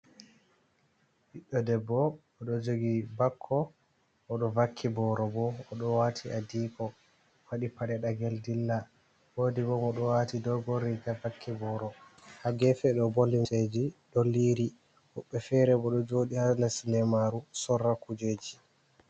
Biɗɗo debbo o ɗo jogi bakko, o ɗo vakki boro bo, o ɗo wati adiko, faɗi paɗe dagel dilla. Wodi bo mo ɗo wati dogon riga, vakki boro ha gefe do bo limseji ɗo liri. Woɓɓe fere bo ɗo joɗi ha les lemaru sorra kujeji.